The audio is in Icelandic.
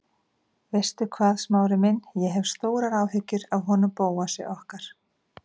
Veistu hvað, Smári minn, ég hef stórar áhyggjur af honum Bóasi okkar.